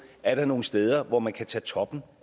er nogle steder hvor man kan tage toppen